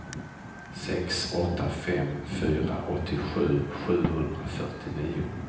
sex åtta fem fyra åttiosju sjuhundrafyrtionio